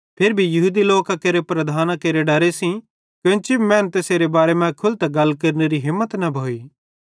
फिरी भी यहूदी लोकां केरे प्रधानां केरे डरे सेइं केन्ची भी मैनू तैसेरे बारे मां खुलतां तैसेरे बारे मां गल केरनेरी हिम्मत न भोइ